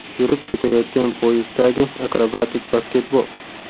yurib ketayotgan poyezddagi akrobatik basketbol.